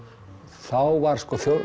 þá var